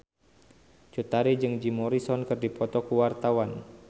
Cut Tari jeung Jim Morrison keur dipoto ku wartawan